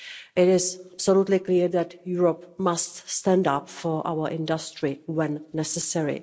It is absolutely clear that Europe must stand up for our industry when necessary.